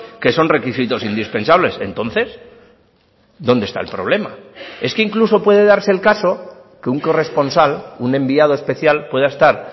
que son requisitos indispensables entonces dónde está el problema es que incluso puede darse el caso que un corresponsal un enviado especial pueda estar